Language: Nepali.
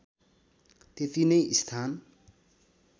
त्यति नै स्थान